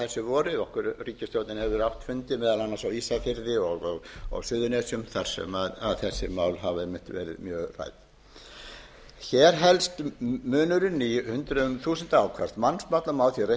fundi meðal annars á ísafirði og á suðurnesjum þar sem þessi mál hafa verið mjög rædd hér helst munurinn í hundruðum þúsunda áfram má því reikna með að